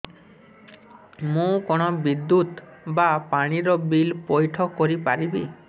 ମୁ କଣ ବିଦ୍ୟୁତ ବା ପାଣି ର ବିଲ ପଇଠ କରି ପାରିବି